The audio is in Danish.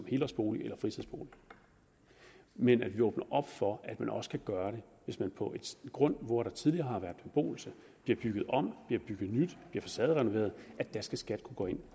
helårsbolig eller fritidsbolig men vi åbner op for at man også kan gøre det hvis der på en grund hvor der tidligere har været beboelse bliver bygget om bliver bygget nyt bliver facaderenoveret der skal skat kunne gå ind